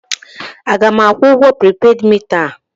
A ga m akwụ ụgwọ pripeed mita a?